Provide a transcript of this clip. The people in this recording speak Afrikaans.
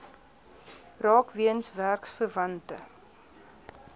raak weens werksverwante